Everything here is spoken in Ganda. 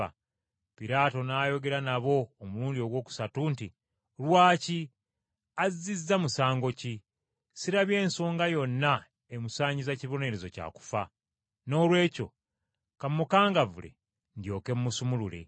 Piraato n’ayogera nabo omulundi ogwokusatu nti, “Lwaki? Azzizza musango ki? Sirabye nsonga yonna emusaanyiza kibonerezo kya kufa. Noolwekyo ka mmukangavvule, ndyoke mmusumulule.”